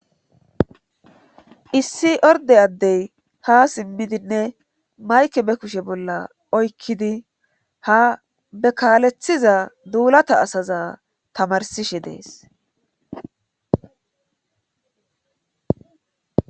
Issi orde addey ha simmidinne mayke be kushe bolla oykkidi ha bekaalethiza duulata asaza tamarsishe dees